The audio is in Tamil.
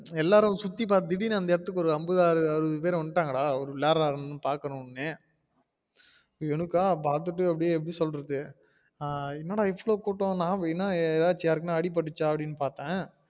எல்லாரும் சுத்தி பாத்திட்டு திடிருன்னு அந்த எடத்துக்கு அங்க வந்து அம்பது பேரு அறுபது பேரு வந்தாங்கடா அவரு வேளடுறாரு பாக்கனும்ன்னட்டு எனக்கா பாத்திட்டு அது எப்டி சொல்றது என்னடா இவ்ளோ கூட்டம் நா என்ன ஏதாசும் யாருக்காச்சும் அடி பற்றுச்சா அப்டின்னு பாத்தேன்